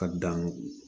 Ka dan